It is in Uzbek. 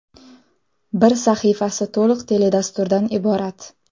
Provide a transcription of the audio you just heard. Bir sahifasi to‘liq teledasturdan iborat.